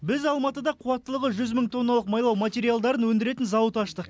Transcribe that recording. біз алматыда қуаттылығы жүз мың тонналық майлау материалдарын өндіретін зауыт аштық